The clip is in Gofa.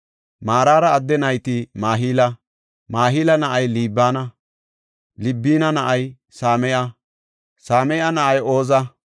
Maraara adde nayti Mahila; Mahila na7ay Libina; Libina na7ay Same7a; Same7a na7ay Ooza;